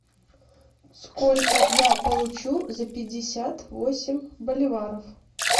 сколько я получу за пятьдесят восемь боливаров